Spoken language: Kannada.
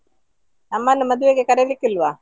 ನಮ್ಮನ್ನು ಮದ್ವೆಗೆ ಕರಿಲಿಕ್ಕೆ ಇಲ್ವಾ?